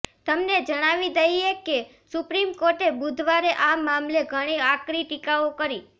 તમને જણાવી દઈએ કે સુપ્રિમ કોર્ટે બુધવારે આ મામલે ઘણી આકરી ટીકાઓ કરી